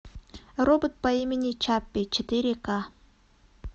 робот по имени чаппи четыре ка